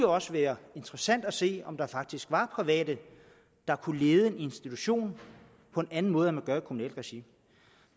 også være interessant at se om der faktisk var private der kunne lede en institution på en anden måde end man gør i kommunalt regi